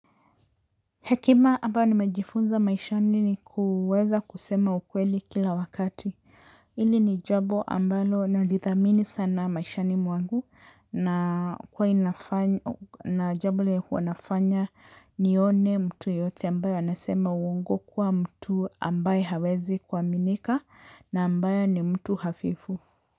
Hekima ambayo nimejifunza maishani ni kuweza kusema ukweli kila wakati hili ni jambo ambalo nadithamini sana maishani mwangu na huwa inafanya na jambo lenye huwanafanya nione mtu yeyote ambayo anasema uongo kuwa mtu ambaye hawezi kuaminika na ambaye ni mtu hafifu.